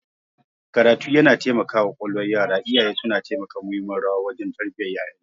karatu yana taimakawa kwalkwalwar yaraIyaye suna taka muhimmiyar rawa wajen tarbiyyar yayansu